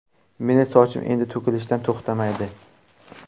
Meni sochim endi to‘kilishdan to‘xtamaydi.